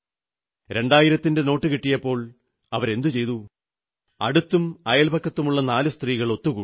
2000 ന്റെ നോട്ടു കിട്ടിയപ്പോൾ അവരെന്തു ചെയ്തു അടുത്തും അയൽപക്കത്തുമുള്ള നാലു സ്ത്രീകൾ ഒത്തുകൂടി